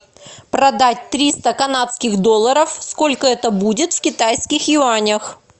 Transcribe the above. продать триста канадских долларов сколько это будет в китайских юанях